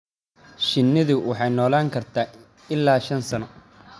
Shinnidu waxay noolaan kartaa ilaa shan sano.